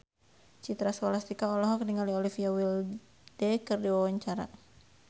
Citra Scholastika olohok ningali Olivia Wilde keur diwawancara